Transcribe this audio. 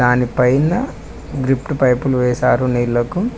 దానిపైన డ్రిప్ పైపులు వేసారు నీళ్లకు.